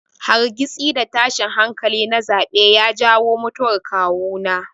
Hargitsi da tashin hankali na zaɓe ya jawo mutuwar kawuna.